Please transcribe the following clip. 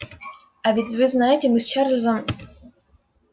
а ведь вы знаете мы с чарлзом